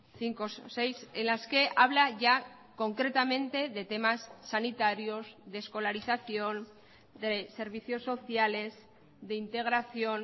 cinco o seis en las que habla ya concretamente de temas sanitarios de escolarización de servicios sociales de integración